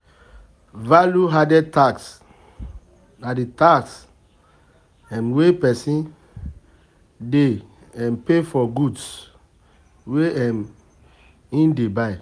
Value added tax na di tax um wey person dey um pay for goods wey um im dey buy